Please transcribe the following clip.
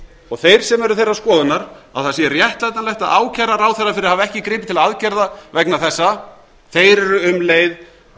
og þeir sem eru þeirrar skoðunar að það sé réttlætanlegt að ákæra ráðherra fyrir að hafa ekki gripið til aðgerða vegna þessa þeir eru um leið